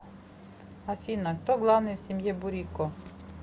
афина кто главный в семье бурико